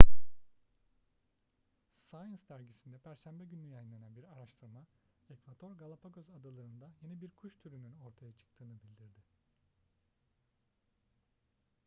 science dergisinde perşembe günü yayınlanan bir araştırma ekvador galapagos adaları'nda yeni bir kuş türünün ortaya çıktığını bildirdi